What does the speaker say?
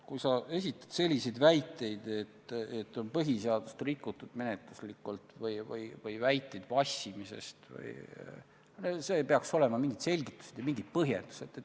Kui sa esitad selliseid väiteid, et põhiseadust on menetluslikult rikutud, või viitad vassimisele, siis sellele peaks järgnema ka mingid selgitused või põhjendused.